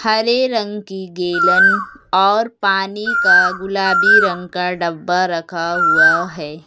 हरे रंग की गैलन और पानी का गुलाबी रंग का डब्बा रखा हुआ है।